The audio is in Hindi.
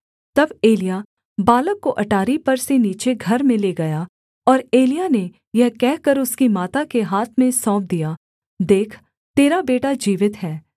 तब एलिय्याह बालक को अटारी पर से नीचे घर में ले गया और एलिय्याह ने यह कहकर उसकी माता के हाथ में सौंप दिया देख तेरा बेटा जीवित है